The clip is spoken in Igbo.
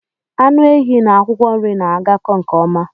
Anụ ehi n'akwụkwọ nri na-agako nke ọma